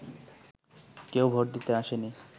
কেউ ভোট দিতে আসেনি